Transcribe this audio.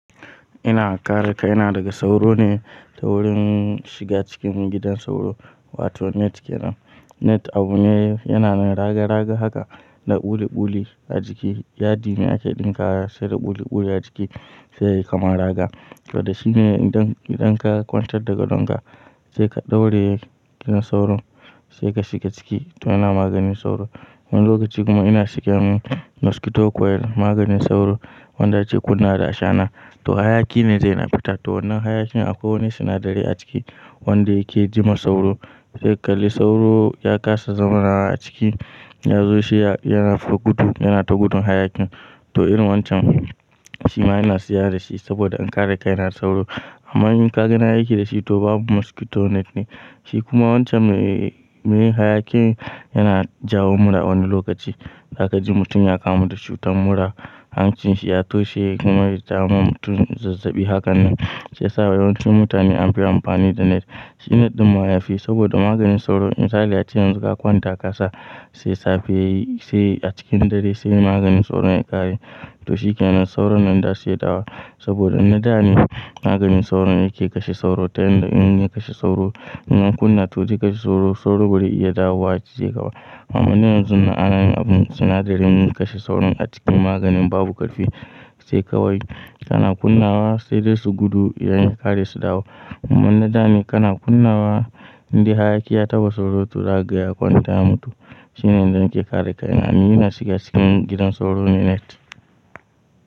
Ina kare kaina, daga sauro ne ta wurin shiga cikin gidan sauro wato net kenan. Net abu ne yanada raga raga haka da buli buli a jiki. Yadine ake ɗinkashi da buli buli a jiki sai yayi kamar raga. Saboda shine idan ka kwantar daga donga sai ka ɗaure gidan sauron sai ka shiga ciki to yana maganin sauro. Wani lokaci kuma ina shiga min mosquito coil maganin sauro wanda ake kunnawa da ashana. To hayaki ne zai na fita, to wannan hayakin akwai wani sinadari a ciki wanda yake ji ma sauro. Sai kalli sauro ya kasa zama a ciki yazo shi yana fito gudu, yana ta gudun hayakin. To irin wancan shima ina siya da shi saboda in kare kaina daga sauro. Amma in kaga nayi aiki dashi to babu mosquito net ne. Shi kuma wancan me yin hayakin yana jawo mura wani lokaci. Za kaji mutum ya kamu da cutar mura, hancin shi ya toshe kuma ya jawo wa mutum zazzabi hakan nan. Shiyasa yawancin mutane anfi amfani da net. Shi net ɗin ma yafi saboda maganin sauro misali ace yanzu ka kwanta ka ka sa sai safe sai a cikin dare sai maganin sauron ya ƙare. To shi kenan sauro nan zasu iya dawowa. Saboda na gane maganin sauro yake kashe sauro ta hanyar inya kashe sauro. In ka kunna to zai kashe sauro, sauro ba zai iya dawowa ya kijeka ba. Amma yanzu ana yin abun sinadarin me kashe sauron a cikin maganin babu ƙarfi sai kawai kana kunnawa sai dai su gudu idan ya ƙare su dawo. Amma dane kana kunnawa indai hayaki ya taɓa sauro to zakaga ya kwanta ya mutu. Shine idan kin kare kai na, ina shiga cikin gidan sauro ne net.